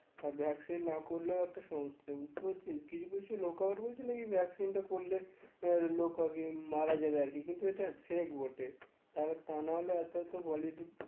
আর vaccine না করলেও একটা সমস্যা বুঝতে পারছিস কিছু কিছু লোক আমার বলছে নাকি vaccine টা করলে আহ লোক আগে মারা যাবে আর কি কিন্তু এটা fake বটে তাই তা না হলে এত এত